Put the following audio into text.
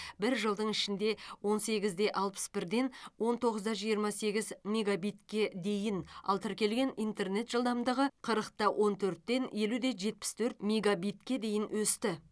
бір жылдың ішінде он сегіз де алпыс бірден он тоғыз да жиырма сегіз мегабитке дейін ал тіркелген интернет жылдамдығы қырық та он төрттен елу де жетпіс төрт мегабитке дейін өсті